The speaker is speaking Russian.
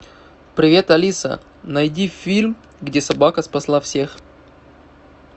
привет алиса найди фильм где собака спасла всех